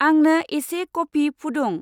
आंनो एसे कफि फुदुं।